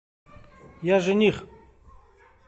я жених